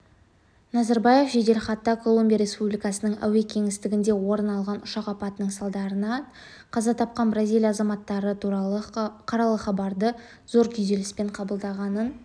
назарбаев жеделхатта колумбия республикасының әуе кеңістігінде орын алған ұшақ апатының салдарынан қаза тапқан бразилия азаматтары туралы қаралы хабарды зор күйзеліспен қабылдағанын